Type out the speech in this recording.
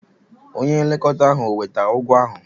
Onye nlekọta ahụ o wetara ụgwọ ahụ?